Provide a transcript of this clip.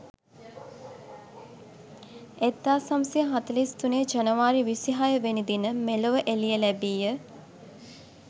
1943 ජනවාරි 26 වෙනි දින මෙලොව එළිය ලැබීය.